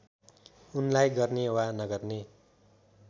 उनलाई गर्ने वा नगर्ने